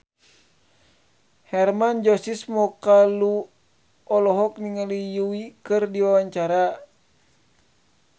Hermann Josis Mokalu olohok ningali Yui keur diwawancara